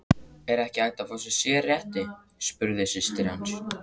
Er ekki hægt að fá sérrétti, spurði systir hans.